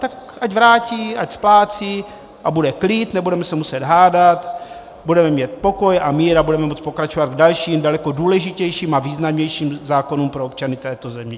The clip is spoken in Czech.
Tak ať vrátí, ať splácí a bude klid, nebudeme se muset hádat, budeme mít pokoj a mír a budeme moci pokračovat v dalším, daleko důležitějším a významnějším zákonu pro občany této země.